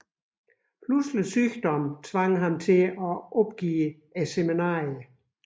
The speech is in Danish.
Pludselig sygdom tvang ham til at opgive seminariet